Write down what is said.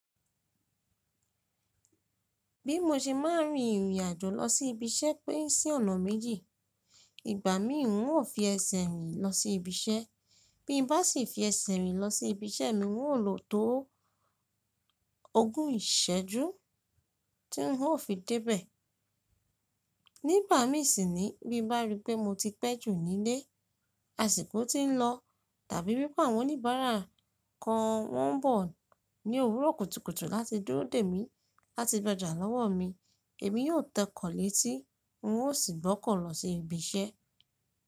Bí mo ṣe máà ń rin ìrìn àjò lọ sí ibi iṣẹ́ pé sí ọ̀nà méjì. Ìgbà mí òun yóò fi ẹsẹ̀ rìn lọ sí ibi iṣẹ́, bí mo bá sì fi ẹsẹ̀ rìn lọ sí ibi iṣẹ́ mi, n óò lò tó ogún ìṣẹ́jú tí n óò fi débẹ̀. Nígbà mí sìn bí bá rí pé mo ti pẹ́ jù nílé, àsìkò ti ń lọ tàbí bí pé àwọn oníbàárà kan wọ́n ń bọ̀ ní òwúrọ̀ kùtùkùtù láti dúró dè mí láti gbojà lọ́wọ́ mi, èmi yóò tẹkọ̀ọ̀ létí un ó sì gbọ́kọ̀ lọ sí ibi iṣẹ́.